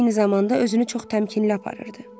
Eyni zamanda özünü çox təmkinli aparırdı.